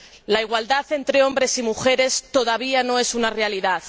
La igualdad entre hombres y mujeres todavía no es una realidad